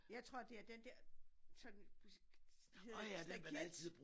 Jeg tror det er den der sådan hedder det stakit